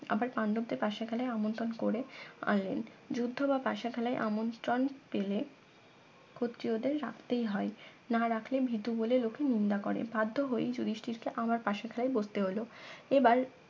আবার পান্ডবদের পাশা খেলায় আমন্ত্রণ করে আনলেন যুদ্ধ বা পাশা খেলায় আমন্ত্রণ পেলে ক্ষত্রিয়দের রাখতেই হয় না রাখলে ভীতু বলে লোকে নিন্দা করে বাধ্য হয়েই যুদিষ্টীর কে আবার পাশা খেলায় বসতে হলো